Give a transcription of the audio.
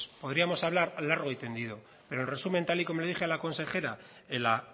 podríamos hablar largo y tendido pero en resumen tal y como le dije a la consejera en la